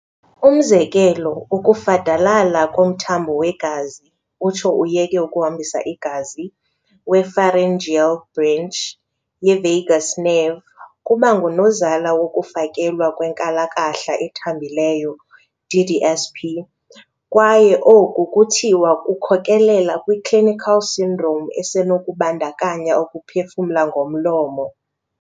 Umzekelo, ukufadalala komthambo wegazi, utsho uyeke ukuhambisa igazi, we-pharyngeal branch ye-vagus nerve kubangunozala wokufakelwa kwe-nkalakahla ethambileyo, DDSP, kwaye oku kuthiwa kukhokhelela kwi-clinical syndrome esenokubandakanya ukuphefumla ngomlomo.